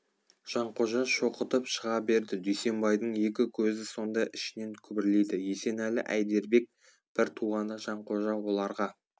жанқожа шоқытып шыға берді дүйсенбайдың екі көзі сонда ішінен күбірлейді есенәлі әйдербек бір туғанда жанқожа оларға